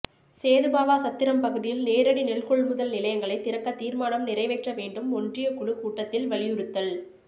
சேதுபாவாசத்திரம் பகுதியில் நேரடி நெல் கொள்முதல் நிலையங்களை திறக்க தீர்மானம் நிறைவேற்ற வேண்டும் ஒன்றியக்குழு கூட்டத்தில் வலியுறுத்தல்